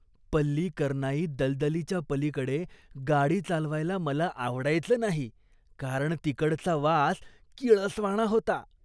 पल्लिकरनाई दलदलीच्या पलीकडे गाडी चालवायला मला आवडायचं नाही, कारण तिकडचा वास किळसवाणा होता.